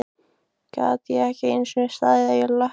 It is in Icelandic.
Gat ekki einu sinni staðið á löppunum!